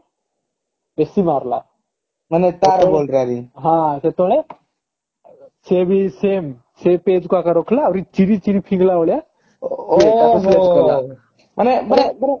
ବେଶି ମାରିଲା ମାନେ ହଁ ସେତେବେଳେ ସେ ବି ସେ page କୁ ଆଗା ରଖିଲା ଆହୁରି ଚିରି ଚିରି ଫିଙ୍ଗିଲା ଭଳିଆ ବିରାଟ କୋହଲି ତାକୁ ତାକୁ କଲା ମାନେ ମାନେ